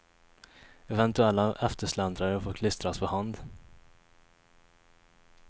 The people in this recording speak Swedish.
Eventuella eftersläntrare får klistras för hand.